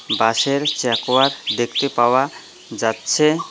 বাঁশের চেকওয়ার দেখতে পাওয়া যাচ্ছে।